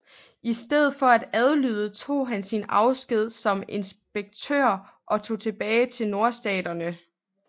I stedet for at adlyde tog han sin afsked som inspektør og tog tilbage til Nordstaterne